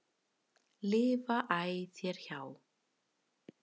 lifa æ þér hjá.